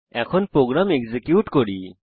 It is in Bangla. এখন প্রোগ্রাম এক্সিকিউট করি